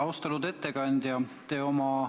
Austatud ettekandja!